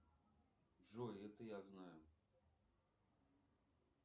джой это я знаю